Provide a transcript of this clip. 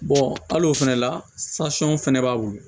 hali o fɛnɛ la sahaw fɛnɛ b'a wuli